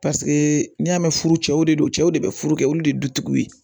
n'i y'a mɛn furu cɛw de don cɛw de bɛ furu kɛ olu de ye dutigiw ye